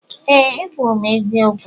Ee, ekwuru m eziokwu.